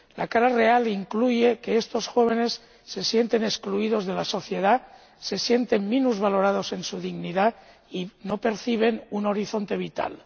La cara real incluye que estos jóvenes se sienten excluidos de la sociedad, se sienten minusvalorados en su dignidad y no perciben un horizonte vital.